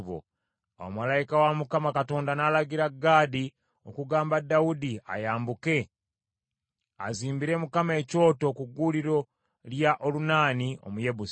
Awo malayika wa Mukama Katonda n’alagira Gaadi okugamba Dawudi ayambuke, azimbire Mukama ekyoto ku gguuliro lya Olunaani Omuyebusi.